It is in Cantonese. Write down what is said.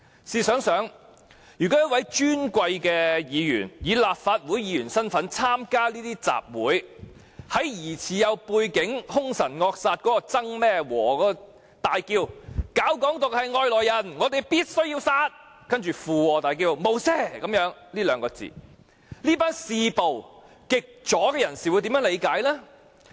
試想一想，如果一位尊貴議員以立法會議員身份參加這些集會，在那位疑似有背景且兇神惡煞的曾姓人士大呼"搞'港獨'是外來人，我們必須殺"之後，附和叫出"無赦"這兩個字，這群嗜暴的極左人士會如何理解？